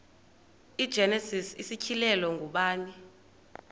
igenesis isityhilelo ngubani